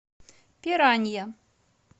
пиранья